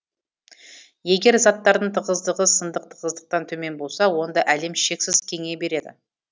егер заттардың тығыздығы сындық тығыздықтан төмен болса онда әлем шексіз кеңейе береді